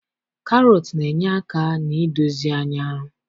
Karọtụ na-enye aka na-idozi anya